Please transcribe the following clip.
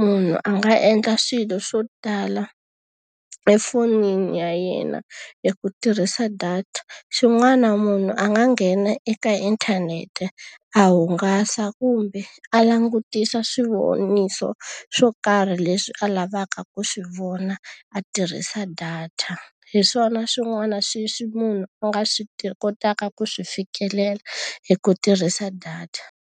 Munhu a nga endla swilo swo tala efonini ya yena hi ku tirhisa data. Xin'wana munhu a nga nghena eka inthanete a hungasa kumbe a langutisa swivoniso swo karhi leswi a lavaka ku swi vona, a tirhisa data. Hi swona swin'wana sweswi munhu a nga swi kotaka ku swi fikelela hi ku tirhisa data.